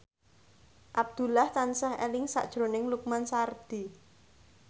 Abdullah tansah eling sakjroning Lukman Sardi